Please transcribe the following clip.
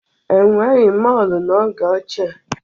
E nweghi mọọlụ n'oge ochie.